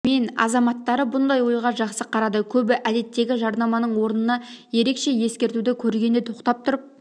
мен азаматтары бұндай ойға жақсы қарады көбі әдеттегі жарнаманың орнына ерекше ескертуді көргенде тоқтап тұрып